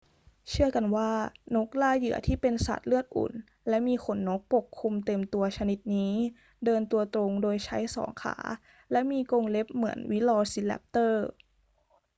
เชื่อกันว่านกล่าเหยื่อที่เป็นสัตว์เลือดอุ่นและมีขนนกปกคลุมเต็มตัวชนิดนี้เดินตัวตรงโดยใช้สองขาและมีกรงเล็บเหมือนวิลอซีแรปเตอร์